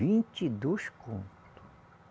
Vinte e dois conto.